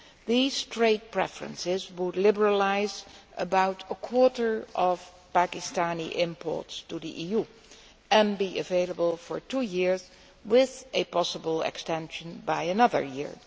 These trade preferences would liberalise about a quarter of Pakistani imports to the EU and be available for two years, with a possible extension for another year.